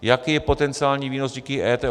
Jaký je potenciální výnos díky EET?